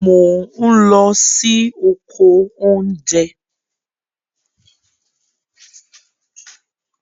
Mò n lọ sí oko oúnjẹ